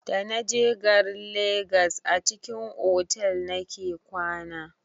Da naje garin legas a cikin otal nake kwana.